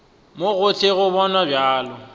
mo gohle o bonwa bjalo